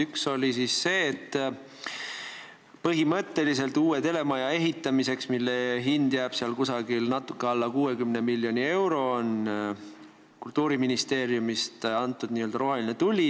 Üks oli see, et põhimõtteliselt on Kultuuriministeerium näidanud uue telemaja ehitamisele, mille hind jääb natuke alla 60 miljoni euro, rohelist tuld.